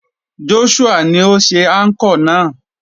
Joshua ni ó ṣe anchor náà.